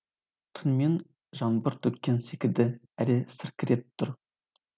түнімен жаңбыр төккен секілді әлі сіркіреп тұр